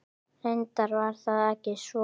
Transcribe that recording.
Reyndar var það ekki svo.